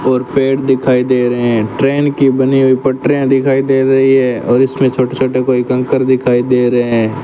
और पेड़ दिखाई दे रहे हैं ट्रेन की बनी हुई पटरियां दिखाई दे रही है और इसमें छोटे छोटे कोई कंकर दिखाई दे रहे हैं।